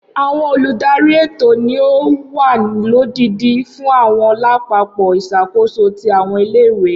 Awọn oludari etò ni o wa lodidi fun awọn lapapọ isakoso ti awọn ile-iwe